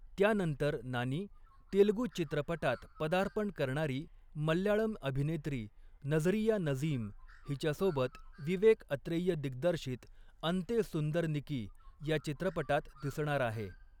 त्यानंतर नानी, तेलगू चित्रपटात पदार्पण करणारी मल्याळम अभिनेत्री नझरिया नझीम हिच्यासोबत विवेक अत्रेय दिग्दर्शित 'अंते सुंदरनिकी' या चित्रपटात दिसणार आहे.